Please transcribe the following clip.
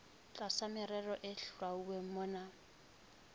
tlasa merero e hlwauweng mona